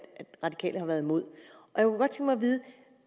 radikale har været imod